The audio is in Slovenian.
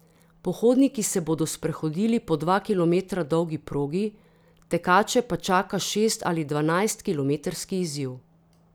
Pohodniki se bodo sprehodili po dva kilometra dolgi progi, tekače pa čaka šest ali dvanajstkilometrski izziv.